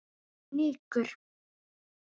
En fnykur